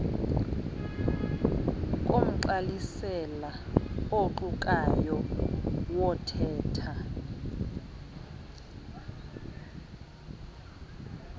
komgqalisela oqukayo wothetha